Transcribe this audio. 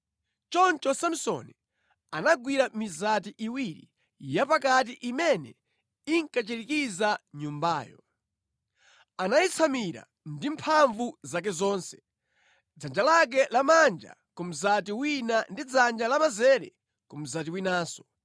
Choncho Samsoni anagwira mizati iwiri yapakati imene inkachirikiza nyumbayo. Anayitsamira ndi mphamvu zake zonse, dzanja lake lamanja ku mzati wina ndi dzanja lamanzere ku mzati winanso,